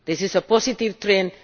This is a positive trend.